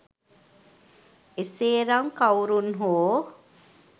එසේ නම් කවුරැන් හෝ